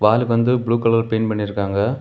வால் வந்து blue colour paint பனிருக்காங்க.